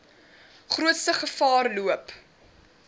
grootste gevaar loop